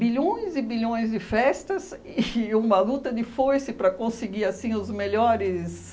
e bilhões de festas e uma luta de foice para conseguir, assim, os melhores...